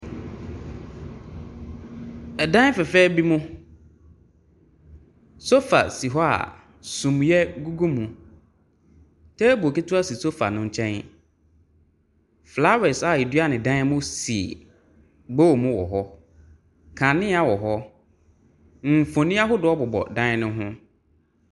Dan fɛfɛɛ bi mu, sofa si hɔ a sumiiɛ gugu mu. Table ketewa si sofa no nkyɛn. Flowers a wɔdua no dan mu si bowl mu wɔ hɔ. Kanea wɔ hɔ. Mfonin ahodoɔ bobɔ dan no ho.